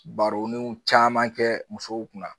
Baronunw caman kɛ musow kunna